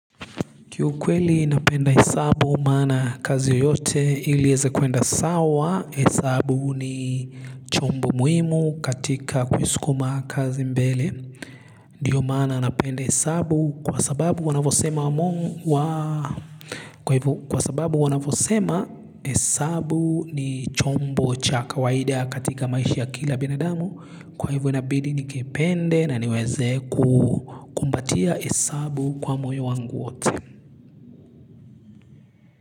Kiu kweli napenda hesabu maana kazi yoyote ili eze kuenda sawa hesabu ni chombo muhimu katika kuisukuma kazi mbele. Ndiyo maana napenda hesabu kwa sababu wanavosema wa mongu wa kwa hivo. Kwa sababu wanavosema hesabu ni chombo cha kawaida katika maishi ya kila binadamu kwa hivo inabidi ni kepende na niweze kuatia hesabu kwa moyo wangu wote.